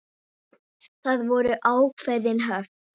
Það voru ákveðin höft.